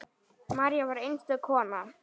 María var einstök kona.